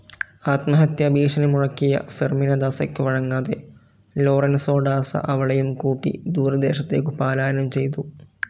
ആത്മഹത്യാഭീഷണി മുഴക്കിയ ഫെർമിന ദാസയ്ക്കു വഴങ്ങാതെ ലോറെൻസോ ഡാസ അവളെയും കൂട്ടി ദൂരദേശത്തേക്കു പലായനം ചെയ്തു.